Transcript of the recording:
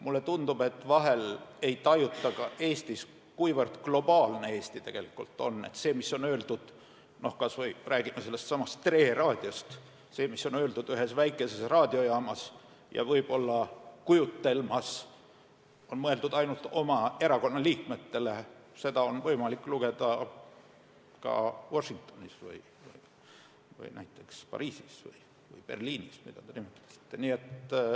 Mulle tundub, et vahel ei tajuta ka Eestis, kuivõrd globaalne Eesti tegelikult on, ei tajuta, et seda, mis on öeldud – räägime kas või sellestsamast Tre Raadiost – ühes väikeses raadiojaamas ja võib-olla kujutelmas on mõeldud ainult oma erakonna liikmetele, on võimalik lugeda ka Washingtonis või näiteks Pariisis või Berliinis, mida te nimetasite.